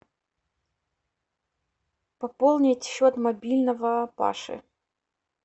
пополнить счет мобильного паши